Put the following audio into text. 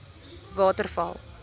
waterval